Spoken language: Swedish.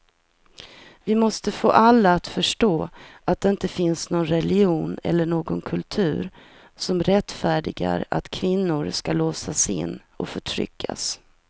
Vi måste få alla att förstå att det inte finns någon religion eller någon kultur som rättfärdigar att kvinnor ska låsas in och förtryckas.